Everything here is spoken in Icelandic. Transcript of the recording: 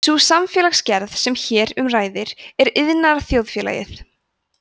sú samfélagsgerð sem hér um ræðir er iðnaðarþjóðfélagið